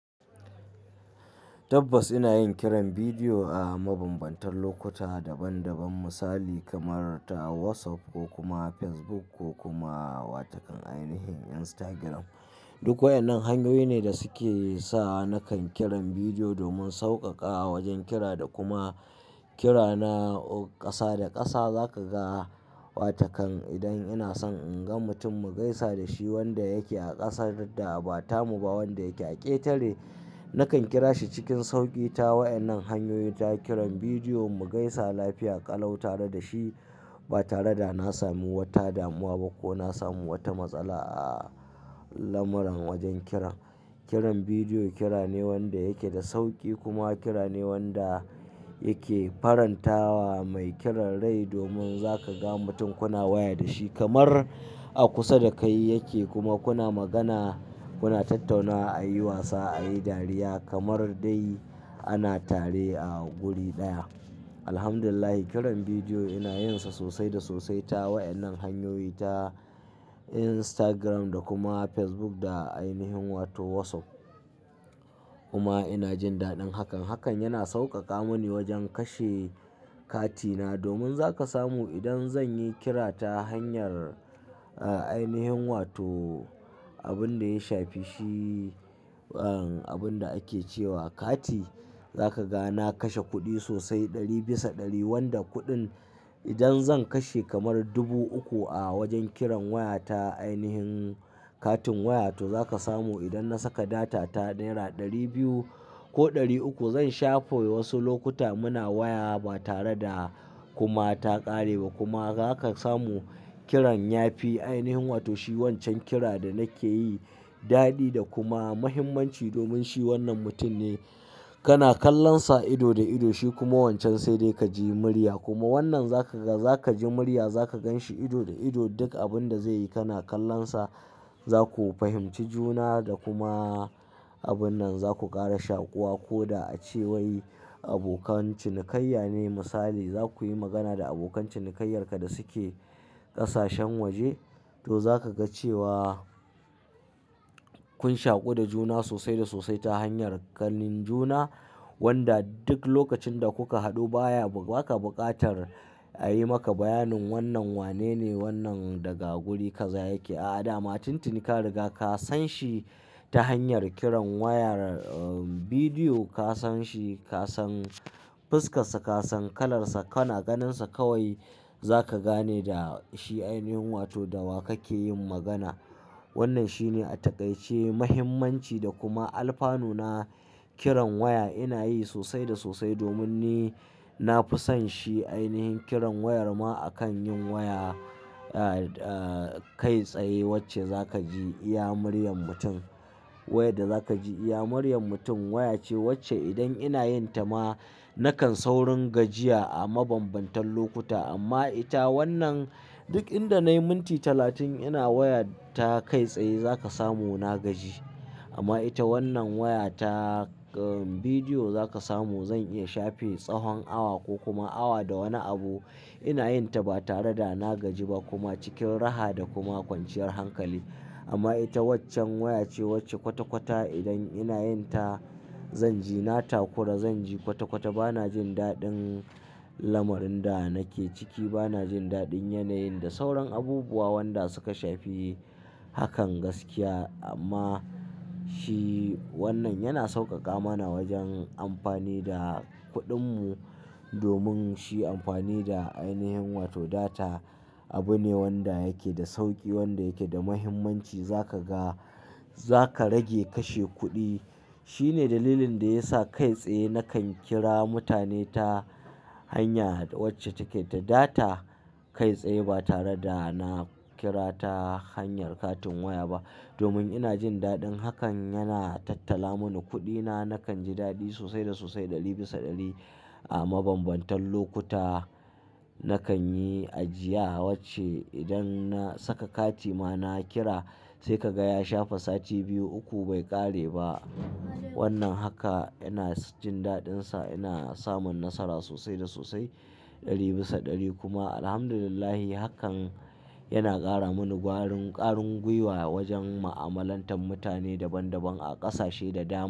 Tabbas ina yin kiran bidiyo a mabambantan lokuta daban-daban. Misali kamar ta WhatsApp ko kuma Facebook ko kuma watakan ainihin Instagram. Duk waɗannan hanyoyi ne da suke sa nakan kiran bidiyo domin sauƙaƙawa wajen kira da kuma kira na oh ƙasa da ƙasa. Za ka ga watakan idan ina son in ga mutum mu gaisa da shi wanda yake a ƙasar da ba tamu ba wanda yake a ƙetare, nakan kira shi cikin sauƙi ta waɗannan hanyoyi ta kiran bidiyo mu gaisa lafiya ƙalau tare da shi ba tare da na sami wata damuwa ba ko na samu wata matsala a lamarin wajen kiran. Kiran bidiyo kira ne wanda yake da sauƙi kuma kira ne wanda yake farantawa mai kiran rai domin za ka ga mutum kuna waya da shi kamar a kusa da kai yake kuma kuna magana, kuna tattaunawa, ayi wasa, ayi dariya kamar dai ana tare a guri ɗaya. Alhamdulillahi kiran bidiyo ina yin sa sosai da sosai ta waɗannan hanyoyi ta Instagram da kuma Facebook da ainihin wato WhatsApp. Kuma ina jin daɗin hakan. Hakan yana sauƙaƙa mani wajen kashe katina domin za ka samu idan zan yi kira ta hanyar, a, ainihin wato abin da ya shafi shi, uhn, abin da ake cewa kati, za ka ga na kashe kuɗi sosai ɗari bisa ɗari wanda kuɗin idan zan kashe kamar dubu uku a wajen kiran waya ta ainihin katin waya, to za ka samu idan na saka data ta naira ɗari biyu ko ɗari uku zan shafe wasu lokuta muna waya ba tare da kuma ta ƙare ba kuma za ka samu kiran yafi ainihin wato shi wancan kira da nake yi daɗi da kuma muhimmanci domin shi wannan mutum ne kana kallon sa ido da ido. Shi kuma wancan sai dai ka ji murya kuma wannan za ka ga, za ka ji murya za ka gan shi ido da ido duk abin da zai yi kana kallon sa. Za ku fahimci juna da kuma abun nan za ku ƙara shaƙuwa ko da a cewai abokan cinikayya ne misali. Za ku yi magana da abokan cinikayyarka da suke ƙasashen waje to za ka ga cewa kun shaƙu da juna sosai da sosai ta hanyar ganin juna wanda duk lokacin da kuka haɗu baya, ba ka buƙatar a yi maka bayanin wannan wanene, wannan daga guri kaza yake. A'a, dama tun tin ka riga ka san shi ta hanyar kiran wayar, uhn, bidiyo. Ka san shi, ka san fuskar sa, ka san kalar sa, kana ganin sa kawai za ka gane da shi ainihin wato da wa kake yin magana. Wannan shine a taƙaice muhimmanci da kuma alfanu na kiran waya ina yi sosai da sosai domin ni na fi son shi ainihin kiran wayar ma akan yin waya, ah, ah, kai tsaye wacce za ka ji iya muryar mutum. Wayar da za ka ji iya muryar mutum. Waya ce wacce idan ina yin ta ma nakan saurin gajiya a mabambantan lokuta amma ita wannan duk inda nayi minti talatin ina waya ta kai tsaye za ka samu na gaji. Amma ita wannan waya ta, uhn, bidiyo za ka samu zan iya shafe tsahon awa ko kuma awa da wani abu ina yin ta ba tare da na gaji ba kuma cikin raha da kuma kwanciyar hankali. Amma ita waccan waya ce wacce kwata-kwata idan ina yin ta zan ji na takura, zan ji kwata-kwata. Ba na jin daɗin lamarin da nake ciki, ba na jin daɗin yanayin da sauran abubuwa wanda suka shafi hakan gaskiya amma shi shi wannan yana sauƙaƙa mana wajen amfani da kuɗin mu domin shi amfani da ainihin wato data abu ne wanda yake da sauƙi, wanda yake da muhimmanci. Za ka ga, za ka rage kashe kuɗi. Shi ne dalilin da ya sa kai tsaye nakan kira mutane ta hanya wacce take da data kai tsaye ba tare da na kira ta hanyar katin waya ba domin ina jin daɗin hakan. Yana tattala mani kuɗina, nakan ji daɗi sosai da sosai ɗari bisa ɗari a mabambantan lokuta. Nakan yi ajiya wacce idan na saka kati ma na kira sai ka ga ya shafa sati biyu, uku bai ƙare ba. Wannan haka ina s jin daɗin sa, ina samun nasara sosai da sosai ɗari bisa ɗari kuma Alhamdulillahi hakan yana ƙara mani gwarin ƙarin gwiwa wajen mu'amalantar mutane daban daban a ƙasashe da dama.